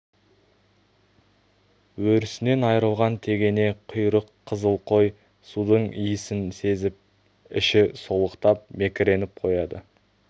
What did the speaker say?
өрісінен айырылған тегене құйрық қызыл қой судың исін сезіп іші солықтап мекіреніп қояды